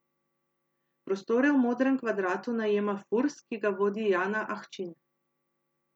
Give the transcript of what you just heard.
Prostore v Modrem kvadratu najema Furs, ki ga vodi Jana Ahčin.